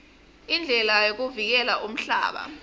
indlela yokuvikela umhlaba